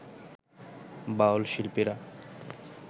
বাউল শিল্পীরা